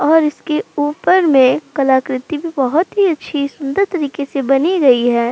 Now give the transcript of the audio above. और इसके ऊपर में कलाकृति भी बहोत ही अच्छी सुन्दर तरीके से बनी गई है।